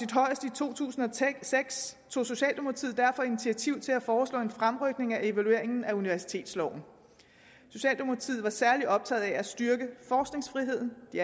to tusind og seks tog socialdemokratiet derfor initiativ til at foreslå en fremrykning af evalueringen af universitetsloven socialdemokratiet var særlig optaget af at styrke forskningsfriheden de